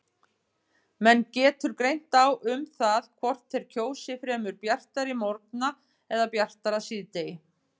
Menn getur greint á um það hvort þeir kjósi fremur bjartari morgna eða bjartara síðdegi.